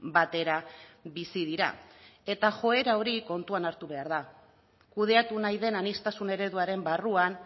batera bizi dira eta joera hori kontuan hartu behar da kudeatu nahi den aniztasun ereduaren barruan